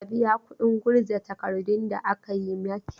Ka biya kuɗin gurza takardun da aka yi maki!